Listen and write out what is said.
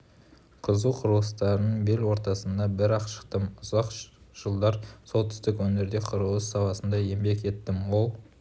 қызу құрылыстардың бел ортасынан бір-ақ шықтым ұзақ жылдар солтүстік өңірде құрылыс саласында еңбек еттім ол